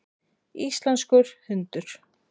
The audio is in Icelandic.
Íslenskur hundur.